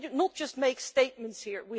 We cannot just make statements here